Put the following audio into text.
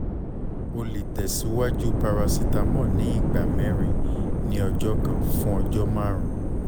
o le tẹsiwaju paracetamol ni igba mẹrin ni ọjọ kan fun ọjọ marun